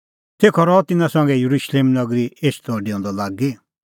तेखअ रहअ तिन्नां संघै येरुशलेम नगरी एछदअडेऊंदअ लागी